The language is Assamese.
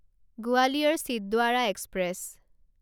গোৱালিয়ৰ চিন্দ্বাৰা এক্সপ্ৰেছ